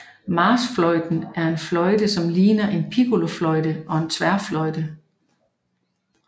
Marchfløjten er en fløjte som ligner en piccolofløjte og en tværfløjte